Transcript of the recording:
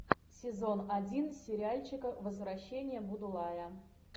сезон один сериальчика возвращение будулая